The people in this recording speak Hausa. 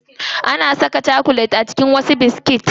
Ana saka chakulet a cikin wasu biskit.